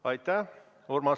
Aitäh!